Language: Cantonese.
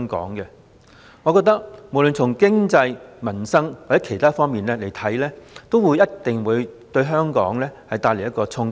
我認為不論從經濟、民生或其他方面來看，這一定會對香港帶來衝擊。